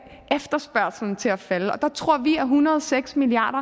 efterspørgslen til at falde og der tror vi at en hundrede og seks milliard